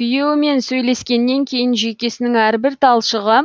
күйеуімен сөйлескеннен кейін жүйкесінің әрбір талшығы